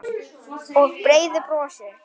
Og breiðu brosi.